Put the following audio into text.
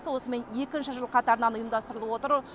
акциясы осымен екінші жыл қатарынан ұйымдастырылып отыр